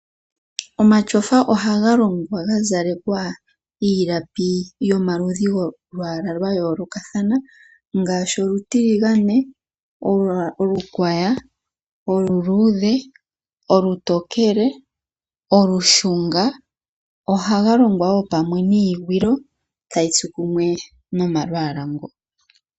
Omatotyofa ohaga longea ga zalekwa iilapi yomaludhi golwaala lwa yoolokathana ngaashi olutiligane, okukwaya, olu luudhe ,olutokele, olushunga ,ohaga longwa woo pamwe niigwilo tayitsu kumwe nomalwaala ngoka.